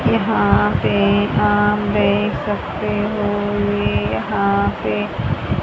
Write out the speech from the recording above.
यहां पे आप देख सकते हो ये यहां पे --